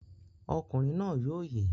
Ọkùnrin náà yóò yè!